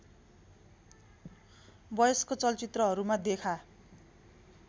वयस्क चलचित्रहरूमा देखा